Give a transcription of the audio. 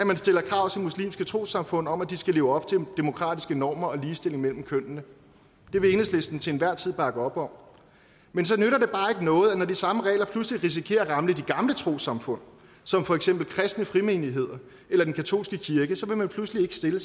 man stiller krav til muslimske trossamfund om at de skal leve op til demokratiske normer og have ligestilling mellem kønnene det vil enhedslisten til enhver tid bakke op om men så nytter det bare ikke noget at når de samme regler pludselig risikerer at ramme de gamle trossamfund som for eksempel kristne frimenigheder eller den katolske kirke så vil man pludselig ikke stille